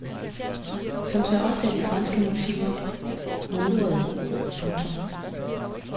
Som så ofte er de franske motiver mudrede. punktum